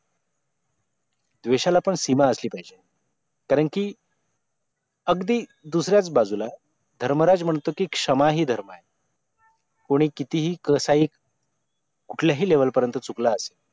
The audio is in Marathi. द्वेषाला पण सीमा असली पाहिजे कारण की अगदी दुसऱ्याच बाजूला धर्मराज म्हणतो की क्षमा ही धर्म आहे कोणी कितीही कसाही कुठल्याही level पर्यंत चुकला असेल